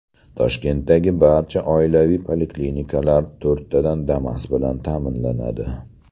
Toshkentdagi barcha oilaviy poliklinikalar to‘rttadan Damas bilan ta’minlanadi.